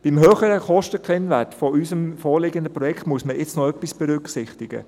Beim höheren Kostenkennwert des uns vorliegenden Projekts muss man jetzt noch etwas berücksichtigen: